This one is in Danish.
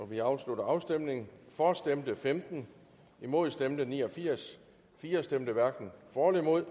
vi afslutter afstemningen for stemte femten imod stemte ni og firs firs hverken for eller imod